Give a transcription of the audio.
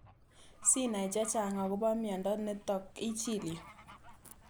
Sinai chechang' akopo miondo nitok ichil yu